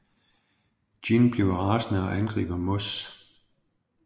Gin bliver rasende og angriber Moss